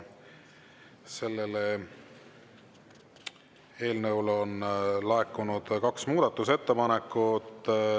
Selle eelnõu kohta on laekunud kaks muudatusettepanekut.